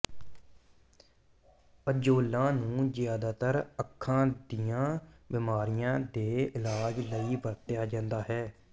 ਅਜ਼ੌਲਾਂ ਨੂੰ ਜ਼ਿਆਦਾਤਰ ਅੱਖਾਂ ਦੀਆਂ ਬਿਮਾਰੀਆਂ ਦੇ ਇਲਾਜ ਲਈ ਵਰਤਿਆ ਜਾਂਦਾ ਹੈ